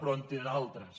però en té d’altres